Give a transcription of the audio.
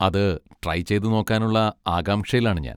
അത് ട്രൈ ചെയ്തുനോക്കാനുള്ള ആകാംക്ഷയിലാണ് ഞാൻ.